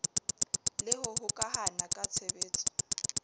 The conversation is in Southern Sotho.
le ho hokahana ka tshebetso